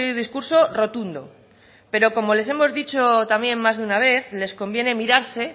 discurso rotundo pero como les hemos dicho también más de una vez les conviene mirarse